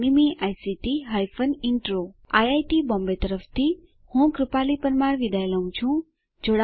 iit Bombay તરફથી spoken tutorial project માટે ભાષાંતર કરનાર હું જ્યોતી સોલંકી વિદાય લઉં છું